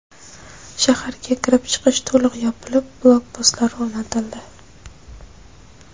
Shaharga kirib-chiqish to‘liq yopilib, blokpostlar o‘rnatildi.